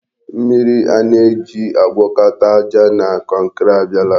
Mmiri a na-eji agwọkọta aja na kọnkri abịala.